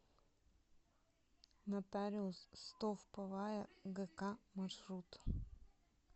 нотариус стовповая гк маршрут